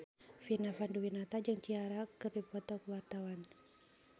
Vina Panduwinata jeung Ciara keur dipoto ku wartawan